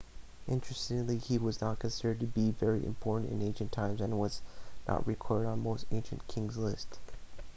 interestingly he was not considered to be very important in ancient times and was not recorded on most ancient king lists